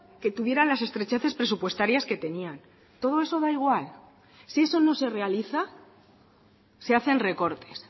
que tuvieran las estrecheces presupuestarias que tenían todo eso da igual si eso no se realiza se hacen recortes